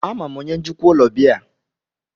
Ama m onye njikwa ụlọ biya a.